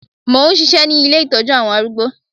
Mò ń ṣisẹ́ ní ilé Ìtọ́jú àwọn arúgbó.